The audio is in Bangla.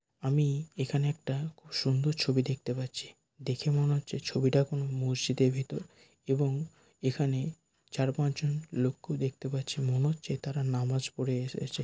আমি এখানে একটা খুব সুন্দর ছবি দেখতে পাচ্ছি দেখে মনে হচ্ছে ছবিটা কোন মসজিদের ভিতর এবং এখানে চার পাঁচ জন লোককে দেখতে পাচ্ছি মনে হচ্ছে তারা নামাজ পড়ে এসেছে।